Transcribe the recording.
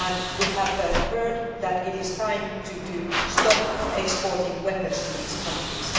We have heard that it is time to stop exporting weapons to these countries.